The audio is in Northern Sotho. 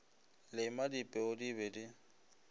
lema dipeu di be di